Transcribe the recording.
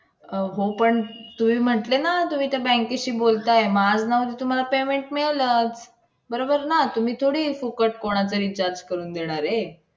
अहो पण तुम्ही म्हटले ना तुम्ही त्या bank शी बोलताय. मग आज ना उद्या तुम्हाला payment मिळेलच. बरोबर ना? तुम्ही थोडी फुकट कोणाचं recharge करून देणार आहे?